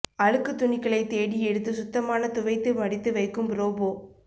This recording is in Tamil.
அழுக்கு துணிகளை தேடி எடுத்து சுத்தமான துவைத்து மடித்து வைக்கும் ரோபோ